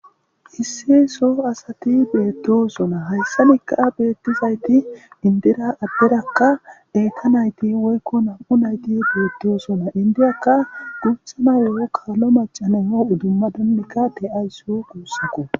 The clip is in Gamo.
Isse so asati beettosona hayssa mikka'a beettizayti indira abberakka eyka nayti woykko nam'u nayti beettosona indiyakka guthama yo'o kaalo macaneno udumma donnikka te'ayssu guussako.